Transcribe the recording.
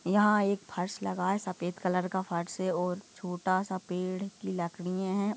यहाँ एक फर्श लगा है सफेद कलर का फर्श है और छोटा सा पेड़ की लकड़ीए है।